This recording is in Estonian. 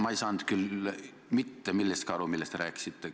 Ma ei saanud küll mitte millestki aru, millest te rääkisite!